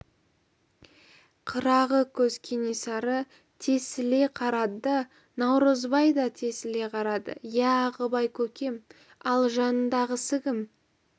қырағы көз кенесары тесіле қарады да наурызбай да тесіле қарады иә ағыбай көкем ал жанындағысы кім